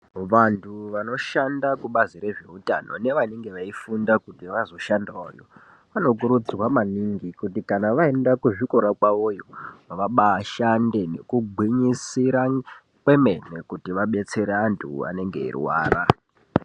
Vantu vanodhanda kubazi rezveutano nevanenge veifunda kuti vazoshandireyo anokurudzirwa maningi kuti Kana vaenda kuzvikora kwawoyo vabaashande nekugwinyisira kwemene kuti vabetsere antu anenga eirwara.